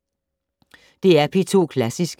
DR P2 Klassisk